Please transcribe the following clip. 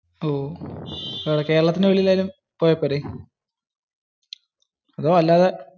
ഓ. കേരളത്തിന് വെളിയിൽ ആയാലും പോയാൽ പോരെ. അതോ അല്ലാതെ.